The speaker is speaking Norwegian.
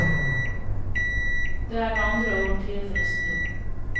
Det er med andre ord tid for å snu.